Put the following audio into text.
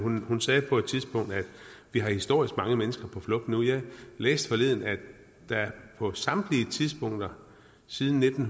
hun sagde på et tidspunkt at vi har historisk mange mennesker på flugt nu jeg læste forleden at der på samtlige tidspunkter siden nitten